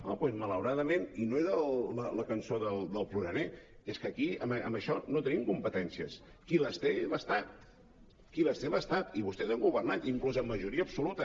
ah doncs malauradament no era la cançó del ploraner és que aquí en això no tenim competències qui les té és l’estat qui les té és l’estat i vostès han governat inclús amb majoria absoluta